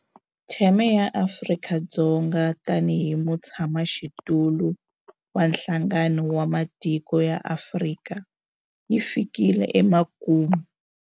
Theme ya Afrika-Dzonga tanihi mutshamaxitulu wa Nhlangano wa Matiko ya Afrika yi fikile emakumu.